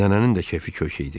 Nənənin də kefi kök idi.